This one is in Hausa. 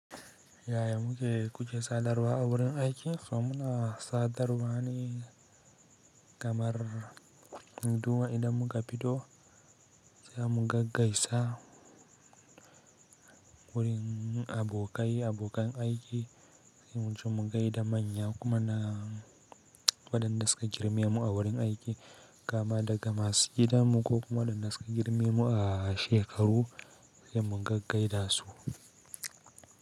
Yaya muke, kuke sadarwa a wurin aiki? To, muna sadarwa ne, kamar bu duba idan muka fito, sai mu gaggaisa wurin abokai, abokan aiki sai mu je mu gaida manya kuma, na waɗanda suka girme mu a wurin aiki, kaama daga masu gida mu, ko kuma waɗanda suka girme mu a shekaru, sai mu gaggai da su.